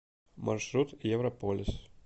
маршрут европолис